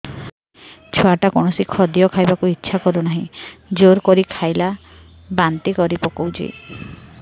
ଛୁଆ ଟା କୌଣସି ଖଦୀୟ ଖାଇବାକୁ ଈଛା କରୁନାହିଁ ଜୋର କରି ଖାଇଲା ବାନ୍ତି କରି ପକଉଛି